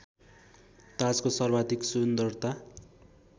ताजको सर्वाधिक सुन्दरता